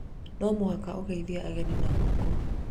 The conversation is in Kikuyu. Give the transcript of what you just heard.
nĩ mũhaka ũgeithĩe ageni na guoko